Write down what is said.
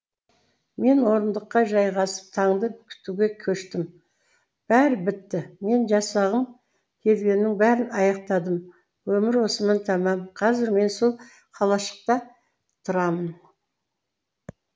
мен орындыққа жайғасып таңды күтуге көштім бәрі бітті мен жасағым келгеннің бәрін аяқтадым өмір осымен тәмам қазір мен сол қалашықта тұрамын